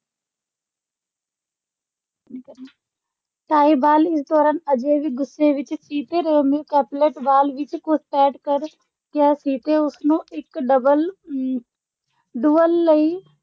Tybalt, ਇਸ ਦੌਰਾਨ, ਅਜੇ ਵੀ ਗੁੱਸੇ ਵਿੱਚ ਸੀ ਕਿ ਰੋਮੀਓ ਕੈਪੁਲੇਟ ਬਾਲ ਵਿੱਚ ਘੁਸਪੈਠ ਕਰ ਗਿਆ ਸੀ ਤੇ ਉਸਨੂੰ ਇੱਕ ਡਬਲ ਅਹ ਡੁਅਲ ਲਈ